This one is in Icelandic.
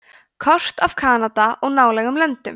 kort af kanada og nálægum löndum